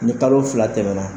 Ni kalo fila tɛmɛna